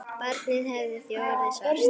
Barnið hefði því orðið svart.